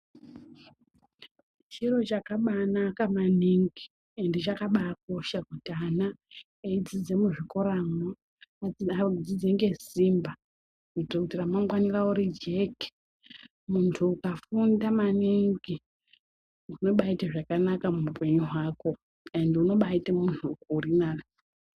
Chiro chakabaanaka maningi ende chakabaakosha kuti ana eidzidza muzvikoramwo vadzidze ngesimba kuitira kuti ramangwana ravo rijeke. Munhu ukafunda maningi unobaaita zvakanaka muupenyu hwako ende unobaaite munhu utu nani.